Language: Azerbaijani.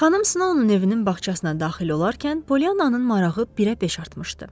Xanım Snowun evinin bağçasına daxil olarkən, Poliannanın marağı birəbeş artmışdı.